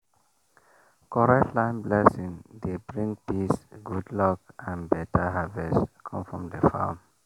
correct land blessing dey bring peace good luck and better harvest come from the farm